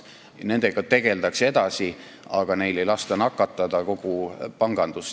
Nendega tegeldakse edasi, aga neil ei lasta nakatada kogu pangandust.